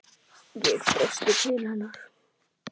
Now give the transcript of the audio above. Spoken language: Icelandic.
Ég brosti til hennar.